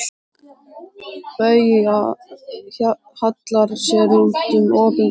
Bauja hallar sér út um opinn glugga.